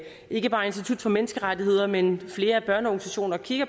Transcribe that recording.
ikke bare institut for menneskerettigheder men flere af børneorganisationerne kigger